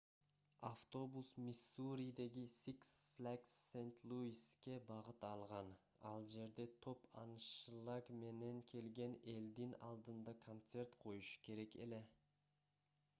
автобус миссуридеги six flags st. louis'ке багыт алган. ал жерде топ аншлаг менен келген элдин алдында концерт коюшу керек эле